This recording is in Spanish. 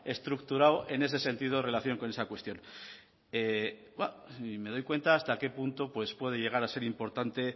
estructurado en ese sentido en relación con esa cuestión y me doy cuenta hasta qué punto puede llegar a ser importante